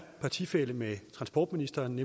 partifælle med transportministeren